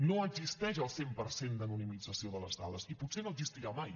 no existeix el cent per cent d’anonimització de les dades i potser no existirà mai